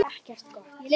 Vill ekkert gott.